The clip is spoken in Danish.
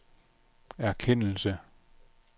erkendelse